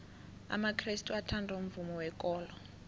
amakrestu athanda umvumo wekolo